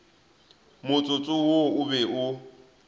motsotso wo o be o